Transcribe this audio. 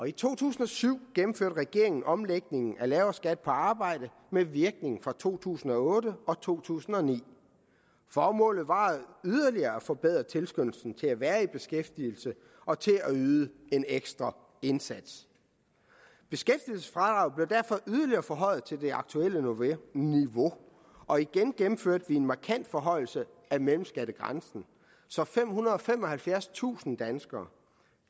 i to tusind og syv gennemførte regeringen en omlægning af lavere skat på arbejde med virkning fra to tusind og otte og to tusind og ni formålet var yderligere at forbedre tilskyndelsen til at være i beskæftigelse og til at yde en ekstra indsats beskæftigelsesfradraget blev derfor yderligere forhøjet til det aktuelle niveau og igen gennemførte vi en markant forhøjelse af mellemskattegrænsen så femhundrede og femoghalvfjerdstusind danskere